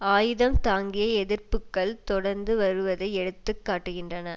ஆயுதம் தாங்கிய எதிர்ப்புக்கள் தொடர்ந்து வருவதை எடுத்து காட்டுகின்றன